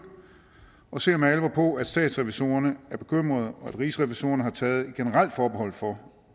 og ser med alvor på at statsrevisorerne er bekymrede og at rigsrevisorerne har taget et generelt forbehold for